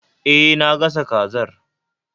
E, na gasa kazar